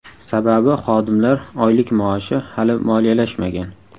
Sababi xodimlar oylik-maoshi hali moliyalashmagan.